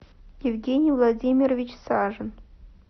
евгений владимирович сажин